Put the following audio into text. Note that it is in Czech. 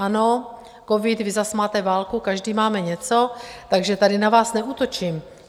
Ano, covid, vy zase máte válku, každý máme něco, takže tady na vás neútočím.